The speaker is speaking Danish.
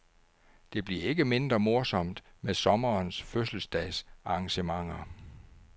Det bliver ikke mindre morsomt med sommerens fødselsdags arrangementer.